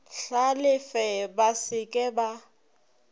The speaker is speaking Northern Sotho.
hlalefe ba se ke ba